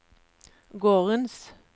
gårdens